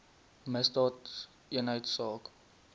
misdaadeenheidsaak